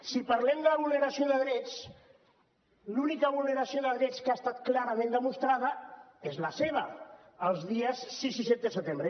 si parlem de vulneració de drets l’única vulneració de drets que ha estat clara·ment demostrada és la seva els dies sis i set de setembre